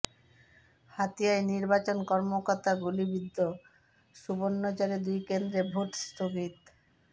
হাতিয়ায় নির্বাচন কর্মকর্তা গুলিবিদ্ধ সুবর্ণচরে দুই কেন্দ্রে ভোট স্থগিত